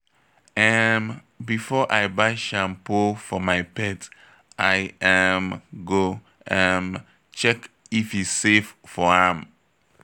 um Before I buy shampoo for my pet, I um go um check if e safe for am.